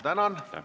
Ei ole.